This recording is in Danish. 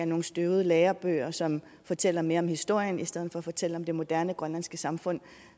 nogle støvede lærebøger som fortæller mere om historien i stedet for at fortælle om det moderne grønlandske samfund